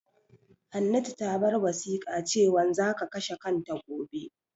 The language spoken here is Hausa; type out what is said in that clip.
Hannatu ta bar wasiƙa cewan za ka kashe kanta gobe.